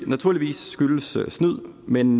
naturligvis skyldes snyd men